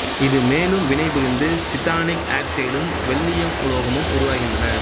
இது மேலும் வினைபுரிந்து சிடானிக் ஆக்சைடும் வெள்ளீயம் உலோகமும் உருவாகின்றன